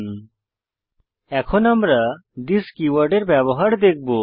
httpwwwspoken tutorialঅর্গ এখন আমরা থিস কীওয়ার্ডের ব্যবহার দেখব